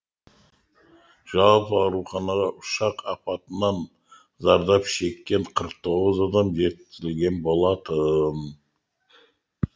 жалпы ауруханаға ұшақ апатынан зардап шеккен қырық тоғыз адам жеткізілген болатын